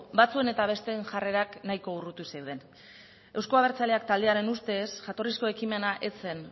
batzuen eta besteek jarrera nahiko urruti zeunden euzko abertzaleak taldearen ustez jatorrizko ekimena ez zen